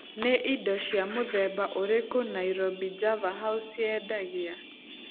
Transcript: Nĩ indo cia mũthemba ũrĩkũ Nairobi Java House yendagia?